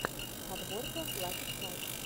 подборка лаки страйк